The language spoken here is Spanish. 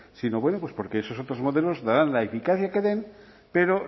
sino bueno pues porque esos otros modelos darán la eficacia que den pero